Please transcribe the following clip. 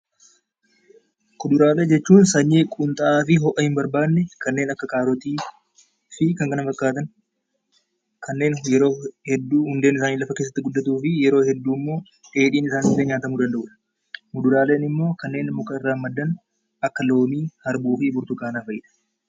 Kuduraalee jechuun sanyii humnaa fi ho'a hin barbaanne, kanneen akka kaarotii fi kan kana fakkaatan kanneen yeroo hedduu hundeen isaanii lafa keessa gad fagaatanii guddatuu fi kanneen yeroo hedduu dheedhiin isaanii illee nyaatamuu danda'udha. Muduraaleen immoo warreen muka irraa maddan akka loomii, harbuu fi burtukaana fa'i.